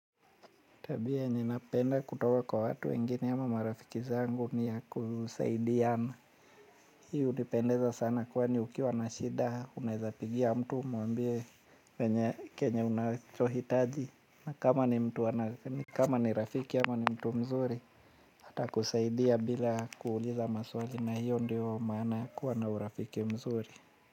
Tabia ninapenda kutoka kwa watu wengine ama marafiki zangu ni ya kusaidiana. Hiyo unipendeza sana kwani ukiwa na shida unawezapigia mtu mwambie kenye unahitaji na kama ni mtu ana kama ni rafiki ama ni mtu mzuri. Hata kusaidia bila kuuliza maswali na hiyo ndio maana kuwa na urafiki mzuri.